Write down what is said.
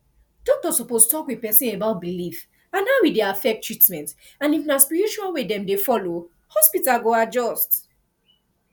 doctor suppose talk with person about belief and how e dey affect treatment and if na spiritual way dem dey follow hospital go adjust